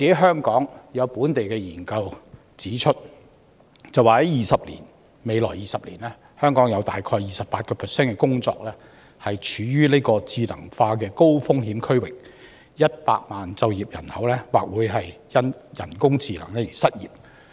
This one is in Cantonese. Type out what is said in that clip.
香港的本地研究則指出，在未來20年，香港有 28% 的工作處於智能化高風險區域 ，100 萬就業人口或會因人工智能而失業。